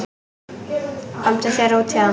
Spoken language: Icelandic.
Komdu þér út héðan!